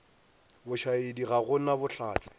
bošaedi ga go na bohlatse